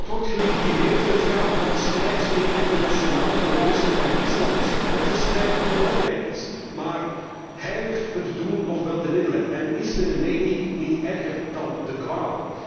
Dit alles wordt gelegitimeerd in het kader van de strijd tegen het internationale terrorisme en islamisme. Dat is een strijd die belangrijk is. Maar heiligt het doel nog wel de middelen en is de remedie niet erger dan de kwaal?